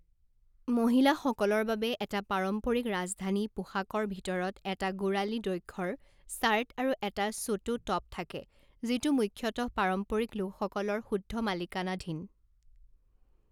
মহিলাসকলৰ বাবে এটা পাৰম্পৰিক ৰাজধানী পোষাকৰ ভিতৰত এটা গোঁড়ালী দৈঘ্যৰ স্কাৰ্ট আৰু এটা ছোটো টপ থাকে, যিটো মুখ্যতঃ পাৰম্পৰিক লোকসকলৰ শুদ্ধ মালিকানাধীন।